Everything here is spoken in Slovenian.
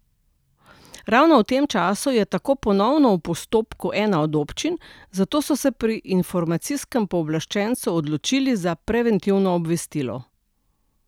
Ravno v tem času je tako ponovno v postopku ena od občin, zato so se pri informacijskem pooblaščencu odločili za preventivno obvestilo.